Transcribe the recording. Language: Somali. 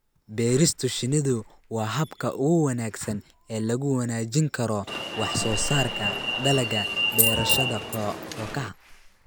Beerista shinnidu waa habka ugu wanaagsan ee lagu wanaajin karo wax soo saarka dalagga beerashada kookaha.